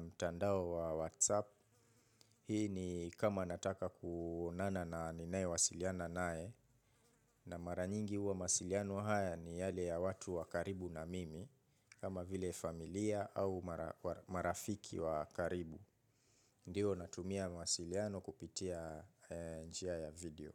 mtandao wa whatsapp. Hii ni kama nataka kuonana na ninae wasiliana nae na maranyingi uwa mawasiliano haya ni yale ya watu wa karibu na mimi kama vile familia au marafiki wa karibu. Ndiyo natumia mawasiliano kupitia njia ya video.